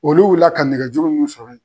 Olu wulila ka nɛgɛjuru mun sɔrɔ ye.